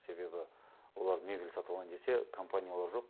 себебі олар мебель сатып алайын десе компаниялар жоқ